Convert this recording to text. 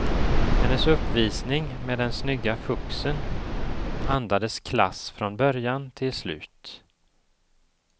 Hennes uppvisning med den snygga fuxen andades klass från början till slut.